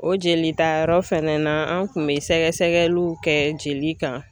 O jelitayɔrɔ fɛnɛ na an tun bɛ sɛgɛsɛgɛliw kɛ jeli kan